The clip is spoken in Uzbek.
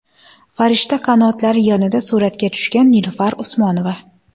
Farishta qanotlari yonida suratga tushgan Nilufar Usmonova.